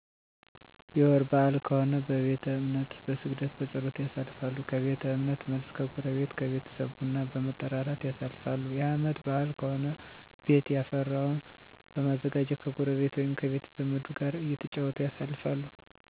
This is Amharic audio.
የወር በአል ከሆነ በቤተ እምነት በስግደት፣ በፀሎት፣ ያሳልፋሉ። ከቤተ እምነት መልስ ከጎረቤት ከቤተሰብ ቡና በመጠራራት ያሳልፋሉ። የአመት በአል ከሆነ ቤት የፈራውን በማዘጋጀት ከጎረቤ ወይም ከቤተዘመዱ ጋር እተጫወቱ ያሳልፋሉ።